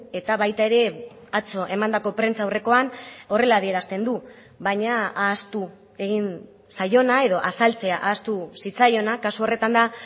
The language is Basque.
eta baita ere atzo emandako prentsaurrekoan horrela adierazten du baina ahaztu egin zaiona edo azaltzea ahaztu zitzaiona kasu horretan da